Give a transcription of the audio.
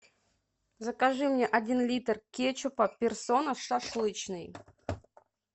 закажи мне один литр кетчупа персона шашлычный